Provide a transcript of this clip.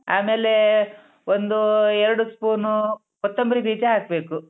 ಆಮೇಲೇ ಒಂದು ಎರ್ಡೂ ಸ್ಪೂನು ಕೊತ್ತೊಂಬ್ರಿ ಬೀಜ ಹಾಕ್ಬೇಕು.